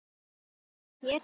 Einn hlær hér, annar þar.